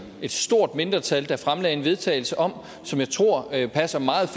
et stort mindretal fremlagde et vedtagelse om og som jeg tror passer meget